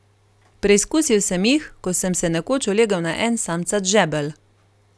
Preizkusil sem jih, ko sem se nekoč ulegel na en samcat žebelj.